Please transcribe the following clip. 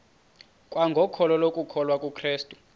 kwangokholo lokukholwa kukrestu